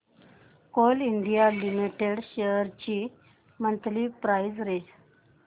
Coal India limited shares ची monthly price range